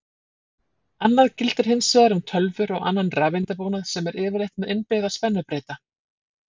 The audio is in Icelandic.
Annað gildir hins vegar um tölvur og annan rafeindabúnað sem er yfirleitt með innbyggða spennubreyta.